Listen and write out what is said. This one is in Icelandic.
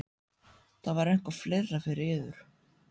Var það eitthvað fleira fyrir yður?